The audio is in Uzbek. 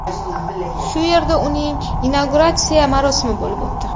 Shu yerda uning inauguratsiya marosimi bo‘lib o‘tdi.